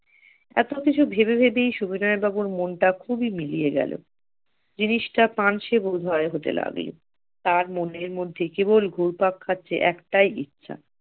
এত কিছু ভেবে ভেবেই সুবিনয় বাবুর মনটা খুবই মিলিয়ে গেল জিনিসটা পাঞ্চে বোধহয় হতে লাগলো তার মনের মধ্যে কেবল গোড় পাক খাচ্ছে একটাই ইচ্ছা